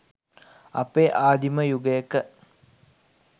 අපේ ආදීම යුගයක